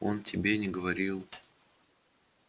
он тебе не говорил